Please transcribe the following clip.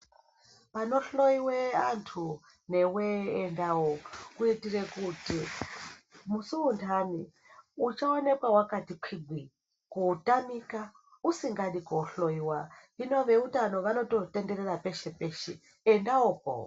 Panohloiwa antu newe endawo kuitira kuti musi wendani usaonekwa wakati kwidzei kuti usatamika usingadi kundohloiwa hino vehutano vanotenderera peshe peshe endawopo.